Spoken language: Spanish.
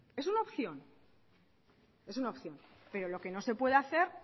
es una opción pero lo que no se puede hacer